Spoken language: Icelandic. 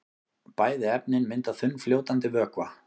Bæði efnin mynda þunnfljótandi vökva.